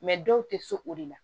dɔw tɛ so o de la